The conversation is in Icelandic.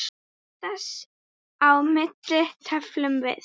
Þess á milli tefldum við.